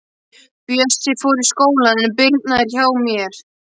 Bjössi fór í skólann en Birna er hjá mér.